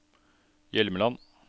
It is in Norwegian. Hjelmeland